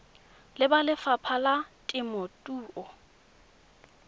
le ba lefapha la temothuo